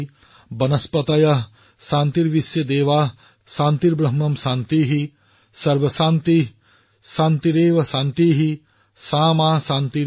सर्वॅंशान्ति शान्तिरेव शान्ति सा मा शान्तिरेधि